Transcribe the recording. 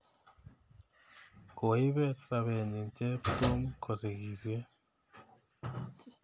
Koipet sobenyi Cheptum kosigisye